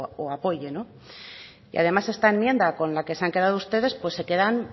o apoye no y además esta enmienda con la que se han quedado ustedes pues se quedan